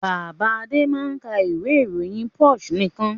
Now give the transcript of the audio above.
Bàbá Adé máa ń ka ìwé-ìròyìn Punch nìkan.